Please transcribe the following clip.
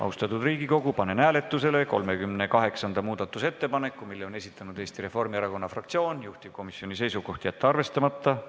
Austatud Riigikogu, panen hääletusele 38. muudatusettepaneku, mille on esitanud Eesti Reformierakonna fraktsioon, juhtivkomisjoni seisukoht: jätta see arvestamata.